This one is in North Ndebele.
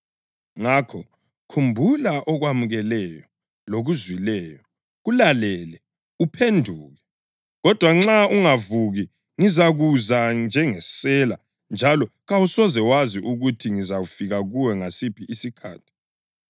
Ngakho, khumbula okwamukeleyo lokuzwileyo; kulalele, uphenduke. Kodwa nxa ungavuki, ngizakuza njengesela njalo kawusoze wazi ukuthi ngizafika kuwe ngasiphi isikhathi.